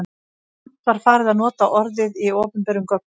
Samt var farið að nota orðið í opinberum gögnum.